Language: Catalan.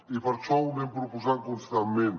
i per això ho anem proposant constantment